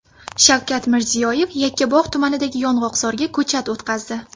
Shavkat Mirziyoyev Yakkabog‘ tumanidagi yong‘oqzorga ko‘chat o‘tqazdi.